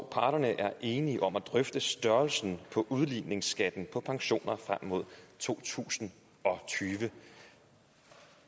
at parterne er enige om at drøfte størrelsen på udligningsskatten på pensioner frem mod to tusind og tyve